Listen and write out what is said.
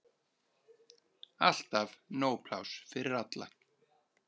Alltaf nóg pláss fyrir alla.